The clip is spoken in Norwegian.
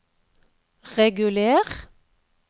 reguler